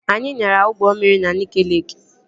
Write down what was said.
Anyị nyara ụgbọ mmiri na Nike Leeki